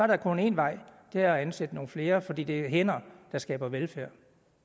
der kun én vej og det er at ansætte nogle flere fordi det er hænder der skaber velfærd